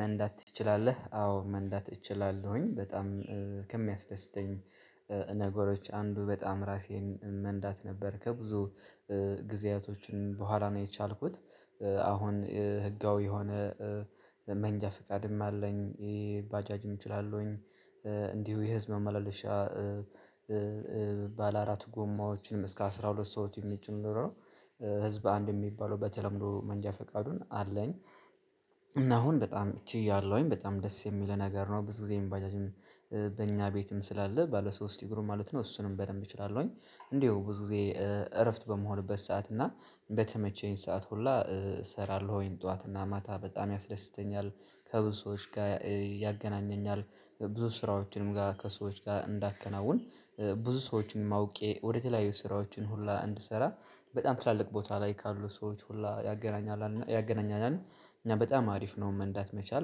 መንዳት ትችላለህ? አዎ መንዳት እችላለሁኝ በጣም ከሚያስደስተኝ ነገሮች አንዱ በጣም ራሴን መንዳት ነበር ከብዙ ጊዜያቶች በኋላ ነው። የቻልኩት አሁን ህጋዊ የሆነ መንጃ ፍቃድም አለኝ ይሄ ባጃጅም እችላለሁኝ። እንዲሁ የህዝብ ማመላለሻ ባለአራት ጎማዎችንም እስከ አስራ ሁለት ሰዎች የሚጭን ኖሮ ህዝብ አንድ የሚባለው በተለምዶ መንጃ ፍቃዱን አለኝ። እና አሁን በጣም እቺ እያለሁኝ በጣም ደስ የሚል ነገር ነው ብዙ ጊዜ የባጃጅም በእኛ ቤትም ስላለ ባለ ሶስት እግሩም ማለት ነው እሱንም በደንብ እችላለሁኝ። እንደው ብዙ ጊዜ እረፍት በምሆንበት ሰዓት እና በተመቸኝ ሰዓት ሁላ እሰራለሁ ወይን ጠዋት እና ማታ በጣም ያስደስተኛል። ከብዙ ሰዎች ጋር ያገናኘኛል ብዙ ስራዎችንም ጋር ከሰዎች ጋር እንዳከናውን። ብዙ ሰዎችንም አውቄ ወደተለያዩ ስራዎችን ሁላ እንድሰራ በጣም ትላልቅ ቦታ ላይ ካሉ ሰዎች ሁላ ያገናኛል ያገናኛል። እኛ በጣም አሪፍ ነው መንዳት መቻል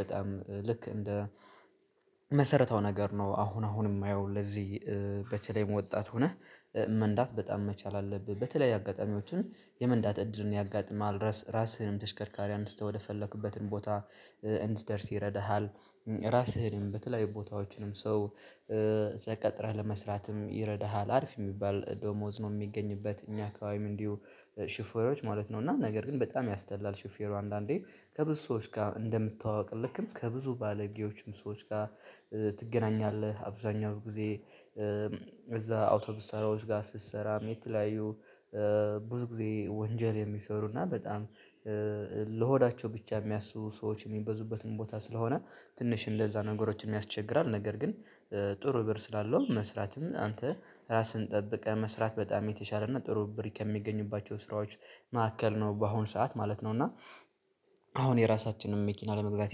በጣም ልክ እንደ መሰረታው ነገር ነው። አሁን አሁን የማየው ለዚህ በተለይ ወጣት ሆነህ መንዳት በጣም መቻል አለብህ በተለይ አጋጣሚዎችን የመንዳት እድርን ያጋጥማል ራስህንም ተሽከርካሪ አንስተህ ወደፈለክበትን ቦታ እንድትደርስ ይረዳሃል። ራስህንም በተለያዩ ቦታዎችንም ሰው ተቀጥረህ ለመስራትም ይረዳሃል አርፍ የሚባል ዶሞዝ ነው የሚገኝበት እኛ አካባቢ እንዲሁ ሽፌሮች ማለት ነው እና ነገር ግን በጣም ያስጠላል። ሽፌሩ አንዳንዴ ከብዙ ሰዎች ጋር እንደምታውቅልህ ከብዙ ባለጌዎችም ሰዎች ጋር ትገናኛለህ። አብዛኛው ጊዜ እዛ አውቶቢስ ተራዎች ጋር ስትሰራ የተለያዩ ብዙ ጊዜ ወንጀል የሚሰሩና በጣም ለሆዳቸው ብቻ የሚያስቡ ሰዎች የሚበዙበትን ቦታ ስለሆነ ትንሽ እንደዛ ነገሮችን ያስቸግራል። ነገር ግን ጥሩ ብር ስላለው መስራትም አንተ ራስህን ጠብቀህ መስራት በጣም የተሻለ እና ጥሩ ብር ከሚገኙባቸው ስራዎች መካከል ነው። በአሁን ሰዓት ማለት ነው እና አሁን የራሳችንን መኪና ለመግዛት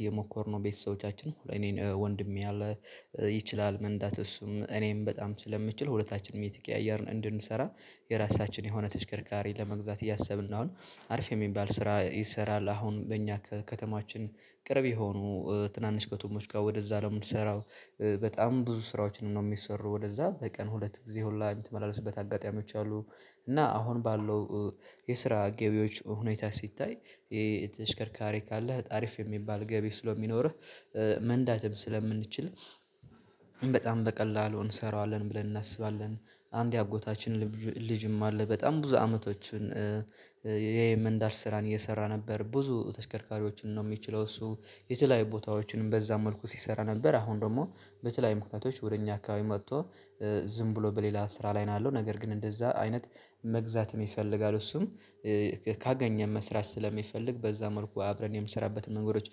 እየሞከርነው ቤተሰቦቻችን እኔን ወንድሜ አለ ይችላል መንዳት እሱም እኔም በጣም ስለምችል ሁለታችንም እየተቀያየርን እንድንሰራ የራሳችን የሆነ ተሽከርካሪ ለመግዛት እያሰብን ነው። አሁን አሪፍ የሚባል ስራ ይሰራል አሁን በእኛ ከከተማችን ቅርብ የሆኑ ትናንሽ ከቶሞች ጋር ወደዛ ነው የምንሰራው በጣም ብዙ ስራዎችንም ነው የሚሰሩ ወደዛ በቀን ሁለት ጊዜ ሁላ የምትመላለስበት አጋጣሚዎች አሉ። እና አሁን ባለው የስራ ገቢዎች ሁኔታ ሲታይ ተሽከርካሪ ካለህ አሪፍ የሚባል ገቢ ስለሚኖርህ መንዳትም ስለምንችል በጣም በቀላሉ እንሰራዋለን ብለን እናስባለን። አንድ አጎታችን ልጅም አለ በጣም ብዙ አመቶችን የመንዳት ስራን እየሰራ ነበር ብዙ ተሽከርካሪዎችን ነው የሚችለው እሱ የተለያዩ ቦታዎችንም በዛ መልኩ ሲሰራ ነበር አሁን ደግሞ በተለያዩ ምክንያቶች ወደ እኛ አካባቢ መጥቶ ዝም ብሎ በሌላ ስራ ላይ ነው። ያለው ነገር ግን እንደዛ አይነት መግዛት ይፈልጋሉ እሱም ካገኘን መስራት ስለሚፈልግ በዛ መልኩ አብረን የምሰራበትን መንገዶች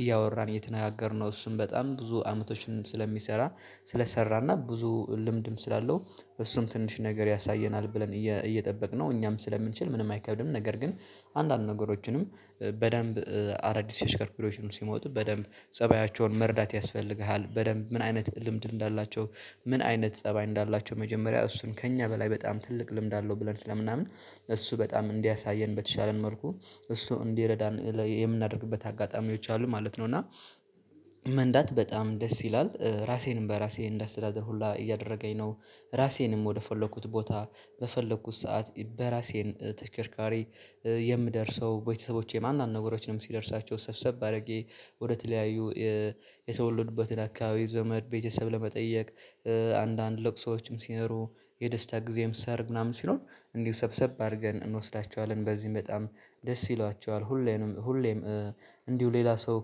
እያወራን እየተነጋገርነው እሱም በጣም ብዙ አመቶችንም ስለሚሰራ ስለሰራና ብዙ ልምድም ስላለው እሱም ትንሽ ነገር ያሳየናል ብለን እየጠበቅነው እኛም ስለምንችል ምንም አይከብድም። ነገር ግን አንዳንድ ነገሮችንም በደንብ አዳዲስ ተሽከርካሪዎችም ሲመጡ በደንብ ፀባያቸውን መርዳት ያስፈልግሃል በደንብ ምን አይነት ልምድ እንዳላቸው ምን አይነት ፀባይ እንዳላቸው መጀመሪያ እሱን ከእኛ በላይ በጣም ትልቅ ልምድ አለው ብለን ስለምናምን እሱ በጣም እንዲያሳየን በተቻለን መልኩ እሱ እንዲረዳን የምናደርግበት አጋጣሚዎች አሉ ማለት ነው። እና መንዳት በጣም ደስ ይላል ራሴንም በራሴ እንደ አስተዳደር ሁላ እያደረገኝ ነው። ራሴንም ወደ ወደፈለኩት ቦታ በፈለኩት ሰዓት በራሴን ተሽከርካሪ የምደርሰው ቤተሰቦቼ ማንኛውም ነገሮች ነው ሲደርሳቸው ሰብሰብ አድርጌ ወደ ተለያዩ የተወለዱበትን አካባቢ ዘመድ ቤተሰብ ለመጠየቅ አንዳንድ ለቅሶዎችም ሲኖሩ የደስታ ጊዜም ሰርግ ምናምን ሲሆን እንዲሁ ሰብሰብ አድርገን እንወስዳቸዋለን በዚህም በጣም ደስ ይሏቸዋል። ሁሌም ሁሌም እንዲሁ ሌላ ሰው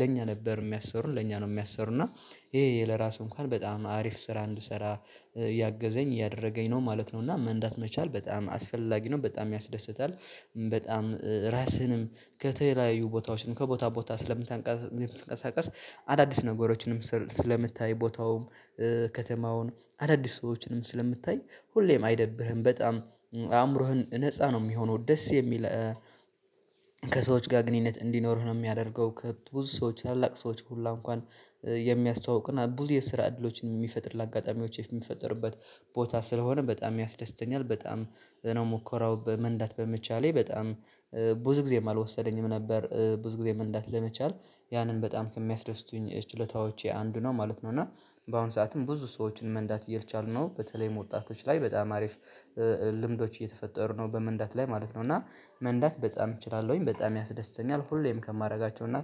ለኛ ነበር የሚያሰሩን ለኛ ነው የሚያሰሩና ይሄ ለራሱ እንኳን በጣም አሪፍ ስራ እንድሰራ ያገዘኝ ያደረገኝ ነው ማለት ነው። እና መንዳት መቻል በጣም አስፈላጊ ነው በጣም ያስደስታል። በጣም ራስህንም ከተለያዩ ቦታዎችን ከቦታ ቦታ ስለምታንቀሳቀስ አዳዲስ ነገሮችንም ስር ስለምታይ ቦታውም ከተማውን አዳዲስ ሰዎችንም ስለምታይ ሁሌም አይደብርህም በጣም አእምሮህን ነፃ ነው የሚሆነው ደስ የሚል ከሰዎች ጋር ግንኙነት እንዲኖርህ ነው የሚያደርገው። ከብዙ ሰዎች ታላላቅ ሰዎች ሁሉ እንኳን የሚያስተዋውቅና ብዙ የስራ እድሎችን የሚፈጥር ለአጋጣሚዎች የሚፈጠርበት ቦታ ስለሆነ በጣም ያስደስተኛል። በጣም ነው ሙኮራው በመንዳት በመቻሌ በጣም ብዙ ጊዜም አልወሰደኝም ነበር ብዙ ጊዜ መንዳት ለመቻል ያንን በጣም ከሚያስደስቱኝ ችሎታዎቼ አንዱ ነው ማለት ነው። እና በአሁን ሰዓትም ብዙ ሰዎችን መንዳት እየልቻልነው በተለይ ወጣቶች ላይ በጣም አሪፍ ልምዶች እየተፈጠሩ ነው በመንዳት ላይ ማለት ነው። እና መንዳት በጣም እችላለሁኝ በጣም ያስደስተኛል ሁሌም ከማደርጋቸው እና